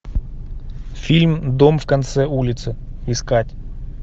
фильм дом в конце улицы искать